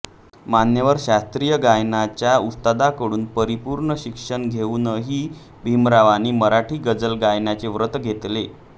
मान्यवर शास्त्रीय गायनाच्या उस्तादांकडून परिपूर्ण शिक्षण घेऊनही भीमरावांनी मराठी गजल गायनाचे व्रत घेतले